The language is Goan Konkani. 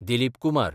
दिलीप कुमार